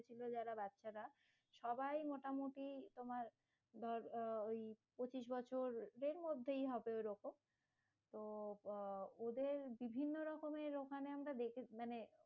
ছিল যারা বাচ্চারা সবাই মোটামুটি তোমার, ধর ওই পঁচিশ বছর দেড় মধ্যেই হবে ওইরকম তো বা ওদের বিভিন্ন রকমের ওখানে আমরা দেখেছিলাম,